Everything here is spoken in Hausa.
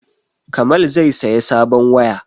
Kamal zai saya sabon waya